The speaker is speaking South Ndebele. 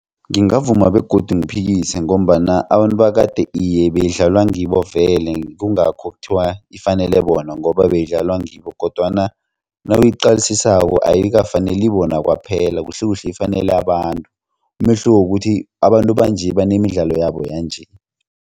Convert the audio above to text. Ngingavuma begodu ngiphikise ngombana abantu bakade iye beyidlalwa ngibo vele kungakho kuthiwa ifanele bona ngoba beyidlalwa ngibo kodwana nawuyiqalisisako ayikafaneli bona kwaphela kuhlekuhle ifanele abantu umehluko kukuthi abantu banje banemidlalo yabo yanje.